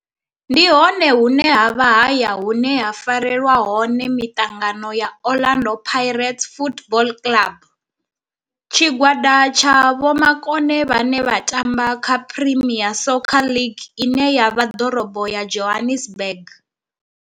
Ndi hone hune havha haya hune ha farelwa hone mitangano ya Orlando Pirates Football Club. Tshigwada tsha vhomakone vhane vha tamba kha Premier Soccer League ine ya vha Dorobo ya Johannesburg.